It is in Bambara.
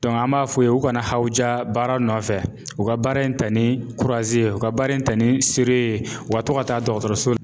an b'a f'u ye u kana hawuja baara nɔfɛ, u ka baara in ta ni ye, u ka baara in ta ni ye, u ka to ka taa dɔgɔtɔrɔso